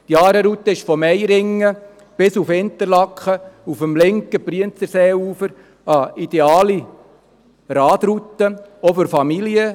Die Aare-Route ist zwischen Meiringen und Interlaken dem linken Brienzerseeufer entlang eine ideale Radroute, auch für Familien.